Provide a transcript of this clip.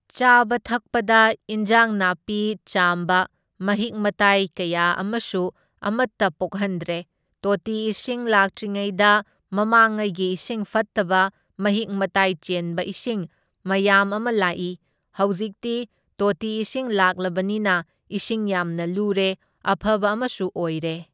ꯆꯥꯕ ꯊꯛꯄꯗ ꯏꯟꯖꯥꯡ ꯅꯥꯄꯤ ꯆꯥꯝꯕ, ꯃꯍꯤꯛ ꯃꯇꯥꯏ ꯀꯌꯥ ꯑꯃꯁꯨ ꯑꯃꯇ ꯄꯣꯛꯍꯟꯗ꯭ꯔꯦ, ꯇꯣꯇꯤ ꯏꯁꯤꯡ ꯂꯥꯛꯇ꯭ꯔꯤꯉꯩꯗ ꯃꯃꯥꯡꯉꯩꯒꯤ ꯏꯁꯤꯡ ꯑꯐꯠꯇꯕ ꯃꯍꯤꯛ ꯃꯇꯥꯏ ꯆꯦꯟꯕ ꯏꯁꯤꯡ ꯃꯌꯥꯝ ꯑꯃ ꯂꯥꯛꯢ, ꯍꯧꯖꯤꯛꯇꯤ ꯇꯣꯇꯤ ꯏꯁꯤꯡ ꯂꯥꯛꯂꯕꯅꯤꯅ ꯏꯁꯤꯡ ꯌꯥꯝꯅ ꯂꯨꯔꯦ, ꯑꯐꯕ ꯑꯃꯁꯨ ꯑꯣꯏꯔꯦ꯫